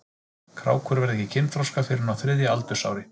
Krákur verða ekki kynþroska fyrr en á þriðja aldursári.